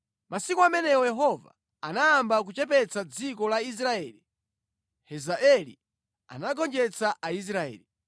Masiku amenewo Yehova anayamba kuchepetsa dziko la Israeli. Hazaeli anagonjetsa Aisraeli,